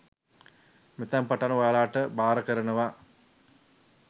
මෙතැන් පටන් ඔයාලට භාර කරනවා